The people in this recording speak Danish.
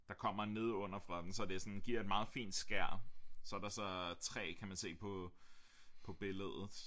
Der kommer nede under fra den så det sådan giver et meget fint skær så er der så træ kan man se på på billedet